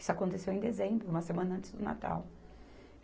Isso aconteceu em dezembro, uma semana antes do Natal.